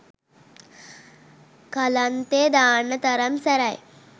කලන්තෙ දාන්න තරම් සැරයි.